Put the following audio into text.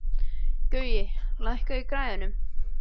Gaui, lækkaðu í græjunum.